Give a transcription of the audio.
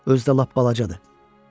Özü də lap balacadır.